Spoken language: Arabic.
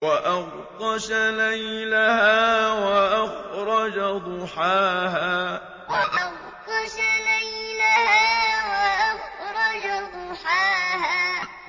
وَأَغْطَشَ لَيْلَهَا وَأَخْرَجَ ضُحَاهَا وَأَغْطَشَ لَيْلَهَا وَأَخْرَجَ ضُحَاهَا